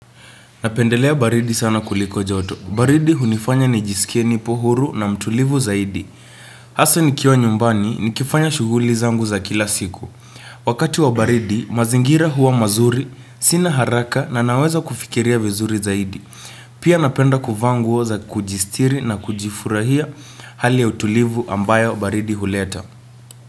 Napendelea baridi sana kuliko joto. Baridi hunifanya nijisikie nipo huru na mtulivu zaidi. Hasa nikiwa nyumbani nikifanya shughuli zangu za kila siku. Wakati wa baridi, mazingira huwa mazuri, sina haraka na naweza kufikiria vizuri zaidi. Pia napenda kuvaa nguo za kujistiri na kujifurahia hali ya utulivu ambayo baridi huleta.